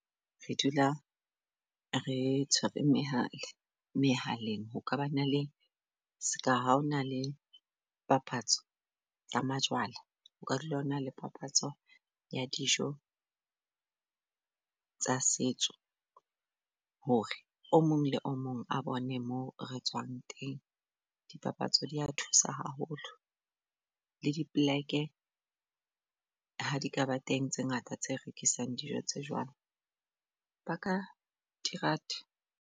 Re dula re tshwere mehale-mehaleng, ho ka ba na le ska ha o na le papatso ya majwala, o ka dula hona le papatso ya dijo tsa setso. Hore o mong le o mong a bone moo re tswang teng dipapatso, dia thusa haholo le dipleke ha di ka ba teng tse ngata tse rekisang dijo tse jwalo. Ba ka di rata.